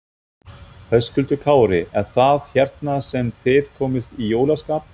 Höskuldur Kári: Er það hérna sem þið komist í jólaskap?